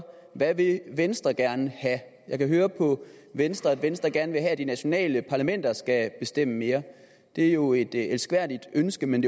hvad vil venstre gerne have jeg kan høre på venstre at venstre gerne vil have at de nationale parlamenter skal bestemme mere det er jo et elskværdigt ønske men